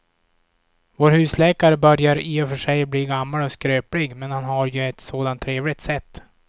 Vår husläkare börjar i och för sig bli gammal och skröplig, men han har ju ett sådant trevligt sätt!